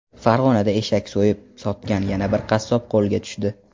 Farg‘onada eshak so‘yib sotgan yana bir qassob qo‘lga tushdi.